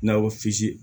Nakɔsi